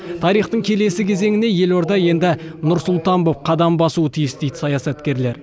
тарихтың келесі кезеңіне елорда енді нұр сұлтан боп қадам басуы тиіс дейді саясаткерлер